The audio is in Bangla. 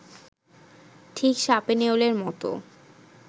ঠিক সাপে-নেউলের মতো